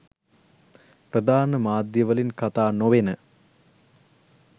ප්‍රධාන මාධ්‍යවලින් කතා නොවෙන